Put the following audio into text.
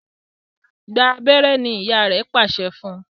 Gbà abéré! ní ìyá rẹ pàṣẹ fún.